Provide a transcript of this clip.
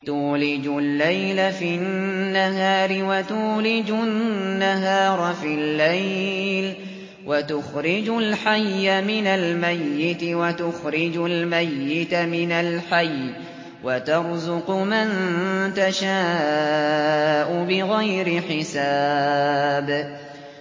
تُولِجُ اللَّيْلَ فِي النَّهَارِ وَتُولِجُ النَّهَارَ فِي اللَّيْلِ ۖ وَتُخْرِجُ الْحَيَّ مِنَ الْمَيِّتِ وَتُخْرِجُ الْمَيِّتَ مِنَ الْحَيِّ ۖ وَتَرْزُقُ مَن تَشَاءُ بِغَيْرِ حِسَابٍ